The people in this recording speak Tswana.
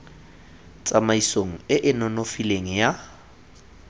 tsamaisong e e nonofileng ya